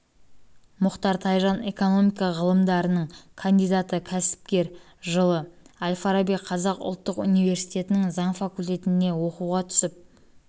мұхтар тайжан экономика ғылымдарының кандидаты кәсіпкер жылы әл-фараби қазақ ұлттық университетінің заң факультетіне оқуға түсіп